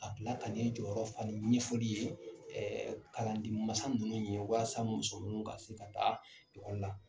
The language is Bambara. Ka kila ka nin jɔyɔrɔ fa ni ɲɛfɔli ye kalanden mansa ninnu ye walasa musomanninw ka se ka taa ekɔli la.